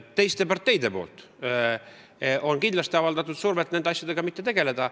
Teised parteid on kindlasti avaldanud survet nende asjadega mitte tegeleda.